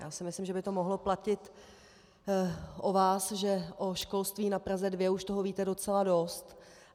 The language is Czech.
Já si myslím, že by to mohlo platit o vás, že o školství na Praze 2 už toho víte docela dost.